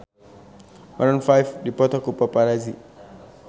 Maroon 5 dipoto ku paparazi